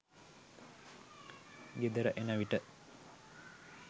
ගෙදර එන විට